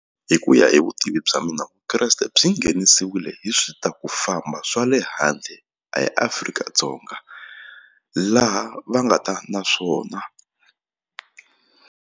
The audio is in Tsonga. Hi ku ya hi vutivi bya mina Vukreste byi nghenisiwile hi swi ta ku famba swa le handle eAfrika-Dzonga laha va nga ta na swona.